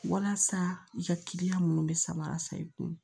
Walasa i ka kiliyan minnu bɛ saba i kun